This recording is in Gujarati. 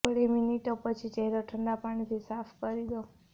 થોડી મિનિટો પછી ચહેરો ઠંડા પાણીથી સાફ કરી દો